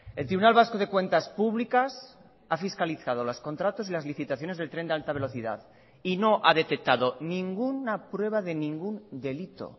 el tribunal vasco de cuentas públicas ha fiscalizado los contratos y las licitaciones del tren de alta velocidad y no ha detectado ninguna prueba de ningún delito